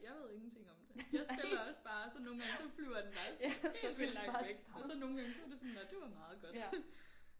Jeg ved ingenting om det jeg spiller også bare og så nogle gange så flyver den bare helt vildt langt væk og så nogle så var det sådan nåh det var meget godt